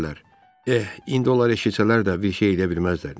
Eh, indi onlar eşitsələr də, bir şey eləyə bilməzlər.